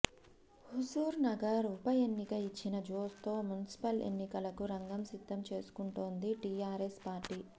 హుజూర్ నగర్ ఉప ఎన్నిక ఇచ్చిన జోష్ తో మున్సిపల్ ఎన్నికలకు రంగం సిద్ధం చేసుకుంటోంది టీఆర్ఎస్ పార్టీ